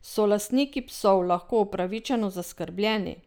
So lastniki psov lahko upravičeno zaskrbljeni?